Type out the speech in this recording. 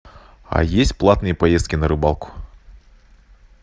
а есть платные поездки на рыбалку